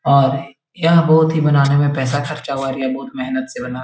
और यहाँ बोहोत ही बनाने में पैसा खर्चा हुआ है और ये बहुत मेहनत से बना है।